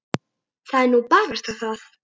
Það er nú barasta það.